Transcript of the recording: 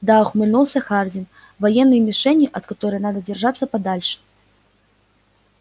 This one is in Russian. да ухмыльнулся хардин военной мишенью от которой надо держаться подальше